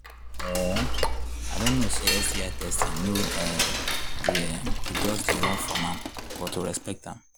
um i don know say sti testing no um be um to just they run from am am but to respect am